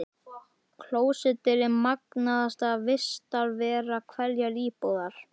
Klósettið er magnaðasta vistarvera hverrar íbúðar.